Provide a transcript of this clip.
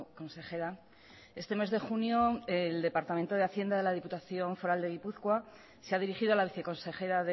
consejera este mes de junio el departamento de hacienda de la diputación foral de gipuzkoa se ha dirigido a la viceconsejera